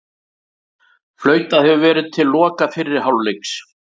Flautað hefur verið loka fyrri hálfleiks